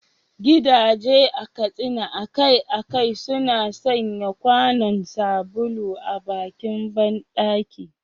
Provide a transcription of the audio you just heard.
Gidaje a Katsina akai-akai suna sanya kwanon sabulu a bakin bandaki.